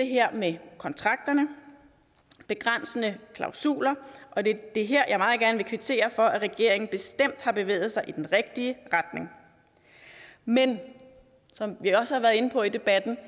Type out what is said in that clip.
her med kontrakterne og begrænsende klausuler og det er her jeg meget gerne vil kvittere for at regeringen bestemt har bevæget sig i den rigtige retning men som vi også har været inde på i debatten